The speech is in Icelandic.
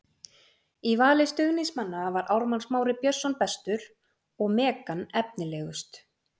Í vali stuðningsmanna var Ármann Smári Björnsson bestur og Megan efnilegust.